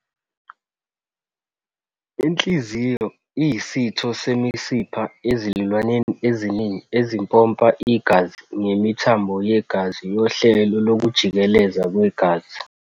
Inhliziyo iyisitho semisipha ezilwaneni eziningi, esimpompa igazi ngemithambo yegazi yohlelo lokujikeleza kwegazi.